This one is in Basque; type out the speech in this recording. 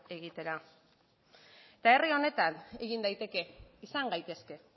egitera eta herri honetan egin daiteke izan gaitezke